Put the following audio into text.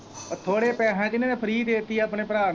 ਥੋੜੇ ਪੈਹਿਆ ਚ ਇਹਨਾ ਨੇ free ਦੇ ਤੀ ਆਪਣੇ ਭਰਾ ਨੂੰ।